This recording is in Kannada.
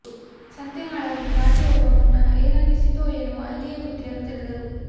ಸಂತೆಮಾಳವನ್ನು ದಾಟಿ ಹೋಗುವ ಮುನ್ನ ಏನನ್ನಿಸಿತೋ ಏನೋ ಅಲ್ಲಿಯೇ ಬುಟ್ಟಿಯನ್ನು ತೆರೆದರು